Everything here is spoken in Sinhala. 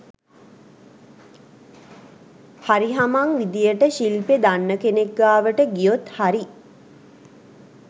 හරිහමං විදිහට ශිල්පෙ දන්න කෙනෙක් ගාවට ගියොත් හරි